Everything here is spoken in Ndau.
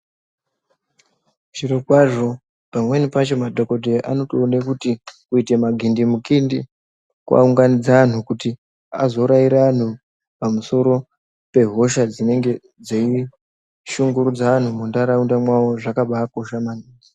Zvirokwazvo pamweni pacho madhokodheya anotoona kuti kuita magindimukindi kwaunganidze vantu kuti azoraira vantu pamusoro pehosha dzinenge dzeishungurudza vantu muntaraunda dzavo zvakambaikosha maningi.